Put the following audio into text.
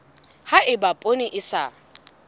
ha eba poone e sa